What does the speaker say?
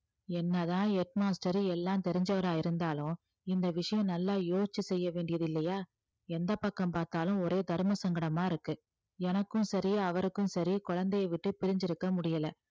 என்னதான் head master எல்லாம் தெரிஞ்சவரா இருந்தாலும் இந்த விஷயம் நல்லா யோசிச்சு செய்ய வேண்டியது இல்லையா எந்த பக்கம் பார்த்தாலும் ஒரே தர்மசங்கடமா இருக்கு எனக்கும் சரி அவருக்கும் சரி குழந்தையை விட்டு பிரிஞ்சிருக்க முடியலை